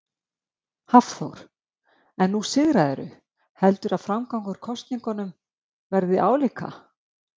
Hafþór: En nú sigraðirðu, heldurðu að framgangur kosningunum verði álíka?